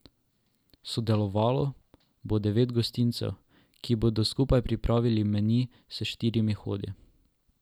Sodelovalo bo devet gostincev, ki bodo skupaj pripravili meni s štirimi hodi.